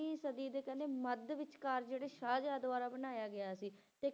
ਸਦੀ ਦੇ ਕਹਿੰਦੇ ਮੱਧ ਵਿਚਕਾਰ ਜਿਹੜੇ ਸ਼ਾਹਜਹਾਂ ਦੁਆਰਾ ਬਣਾਇਆ ਗਿਆ ਸੀ ਤੇ